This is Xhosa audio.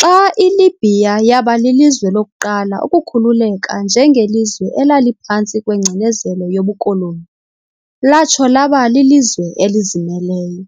xa iLibya yaba lilizwe lokuqala ukukhululeka njengelizwe elaliphantsi kwengcinezelo yobukoloni, latsho laba lilizwe elizimeleyo.